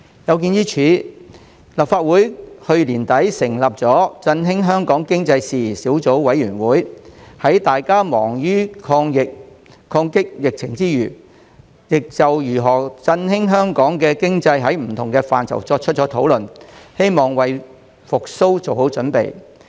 有見於此，立法會在去年年底成立振興香港經濟事宜小組委員會，在大家忙於抗擊疫情之際，就如何振興香港經濟作出多方面的討論，希望為經濟復蘇做好準備。